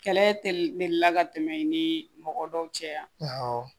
Kɛlɛ te la ka tɛmɛ i ni mɔgɔ dɔw cɛ